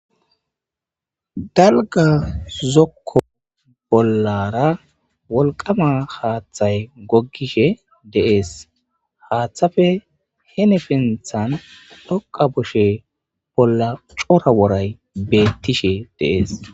Dalgga zokko bollaara wolqqamaa haaththay goggishe de7ees;haaththape hinipinththan dhoqqa kushee bolla cora woray beeththishee de7ees.